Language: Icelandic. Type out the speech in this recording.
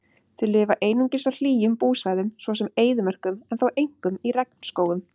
Þau lifa einungis á hlýjum búsvæðum svo sem eyðimörkum en þó einkum í regnskógum.